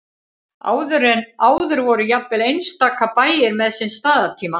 áður voru jafnvel einstaka bæir með sinn staðartíma